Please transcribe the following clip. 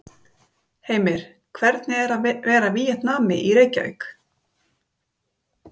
Heimir: Hvernig er að vera Víetnami í Reykjavík?